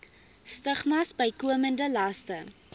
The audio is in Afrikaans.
stigmas bykomende laste